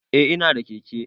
Eh ina da keke.